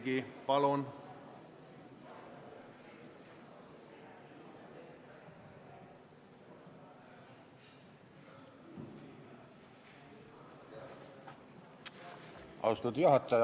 Austatud juhataja!